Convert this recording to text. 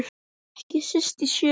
Ekki síst í sjö.